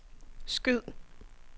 skyd